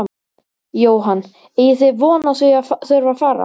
Jóhann: Eigið þið von á því að þurfa fara?